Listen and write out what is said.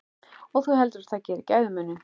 Og þú heldur það geri gæfumuninn?